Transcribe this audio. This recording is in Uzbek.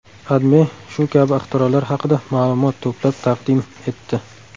AdMe shu kabi ixtirolar haqida ma’lumot to‘plab taqdim etdi.